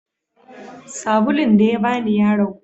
sabulun dayabani yaragu